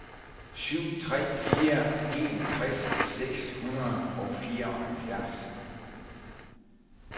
syv tre fire en tres seks hundrede og fireoghalvfjerds